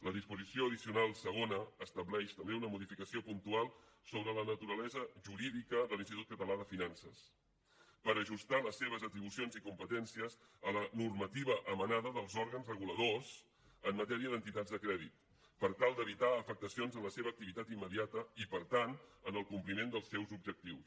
la disposició addicional segona estableix també una modificació puntual sobre la naturalesa jurídica de l’institut català de finances per ajustar les seves atribucions i competències a la normativa emanada dels òrgans reguladors en matèria d’entitats de crèdit per tal d’evitar afectacions en la seva activitat immediata i per tant en el compliment dels seus objectius